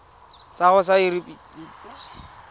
sa gago sa irp it